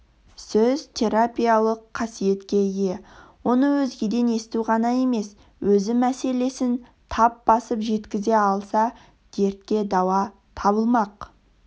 сөз терапиялық қасиетке ие оны өзгеден есту ғана емес өзі мәселесін тап басып жеткізе алса дертке дауа табылмақ